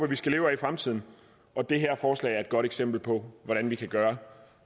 vi skal leve af i fremtiden og det her forslag er et godt eksempel på hvordan vi kan gøre